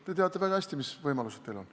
Te teate väga hästi, mis võimalused teil on.